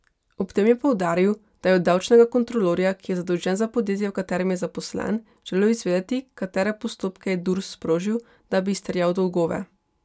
Ob tem je poudaril, da je od davčnega kontrolorja, ki je zadolžen za podjetje, v katerem je zaposlen, želel izvedeti, katere postopke je Durs sprožil, da bi izterjal dolgove.